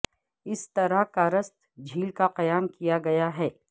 اس طرح کارست جھیل کا قیام کیا گیا ہے